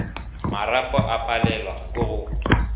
marapo a palelwe ke go